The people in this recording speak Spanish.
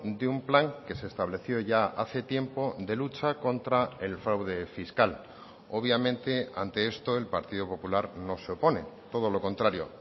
de un plan que se estableció ya hace tiempo de lucha contra el fraude fiscal obviamente ante esto el partido popular no se opone todo lo contrario